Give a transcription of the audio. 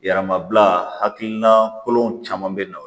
Yɛrɛmabila hakilina kolon caman be na